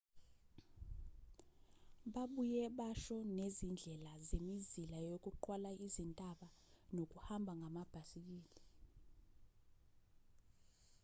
babuye basho nezindlela zemizila yokuqwala izintaba nokuhamba ngamabhisikili